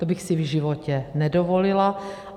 To bych si v životě nedovolila.